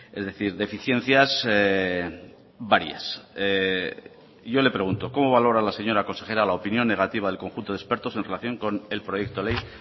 es decir deficiencias varias yo le pregunto cómo valora la señora consejera la opinión negativa del conjunto de expertos en relación con el proyecto ley